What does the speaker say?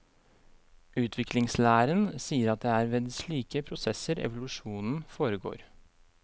Utviklingslæren sier at det er ved slike prosesser evolusjonen foregår.